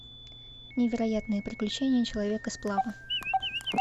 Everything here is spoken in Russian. невероятные приключения человека сплава